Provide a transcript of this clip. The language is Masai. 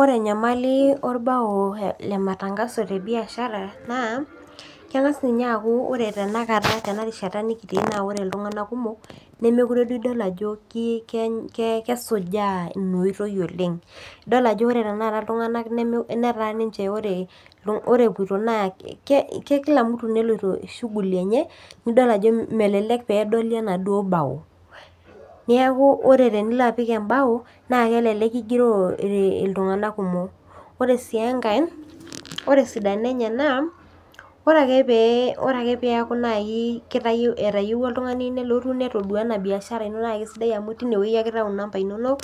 Ore enyamali orbao tematangaso tebiashara naa keng'as ninye akuu ore tenarishata nikiitii naa ore iltung'ana kumok nimidol Ajo kesujaa ena oitoi oleng edol Ajo ore tanakata iltung'ana netaa ninche ore epuoito naa kila mtu neloito shughuli enye neeku edol Ajo melelek pee edoli enaduo bao neeku tenilo apik ebai naa kelelek kigiroo iltung'ana kumok ore sii enkae ore esidano ore ake peeku keyieu oltung'ani metodua ena biashara eno naa kisidai amu teine ake eitau ee number enono